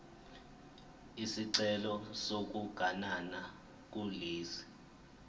isicelo sokuganana kulesi